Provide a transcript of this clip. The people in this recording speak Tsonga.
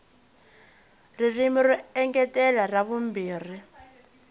ririmi ro engetela ra vumbirhi